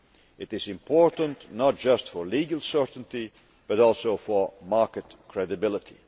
It is important, not just for legal certainty, but also for market credibility.